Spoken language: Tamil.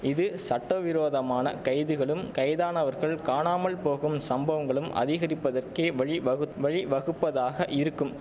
இது சட்டவிரோதமான கைதுகளும் கைதானவர்கள் காணாமல் போகும் சம்பவங்களும் அதிகரிப்பதற்கே வழிவகுத் வழிவகுப்பதாக இருக்கும்